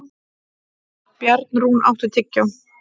Bjarnrún, áttu tyggjó?